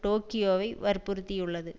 டோக்கியோவை வற்புறுத்தியுள்ளது